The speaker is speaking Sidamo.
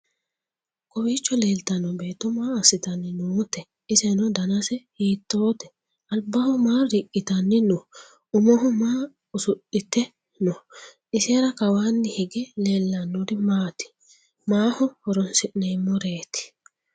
kowiicho leeltanno beetto maa assitanni noote? iseno danase hiittote? albaho maa riqqitanni no?umoho maa usudhite no?isera kawaanni hige leellannori maati ?maaho horonsi'neemmoreeti?